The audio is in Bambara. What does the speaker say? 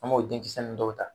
An m'o denkisɛ nun dɔw ta.